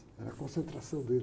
Era a concentração dele.